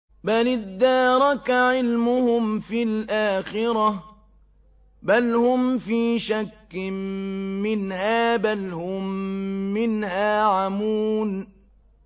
بَلِ ادَّارَكَ عِلْمُهُمْ فِي الْآخِرَةِ ۚ بَلْ هُمْ فِي شَكٍّ مِّنْهَا ۖ بَلْ هُم مِّنْهَا عَمُونَ